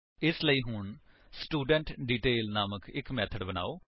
ਇਸਲਈ ਹੁਣ ਸਟੂਡੈਂਟਡੀਟੇਲ ਨਾਮਕ ਇੱਕ ਮੇਥਡ ਬਨਾਓ